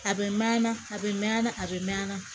A bɛ mɛn a bɛ mɛn a bɛ mɛn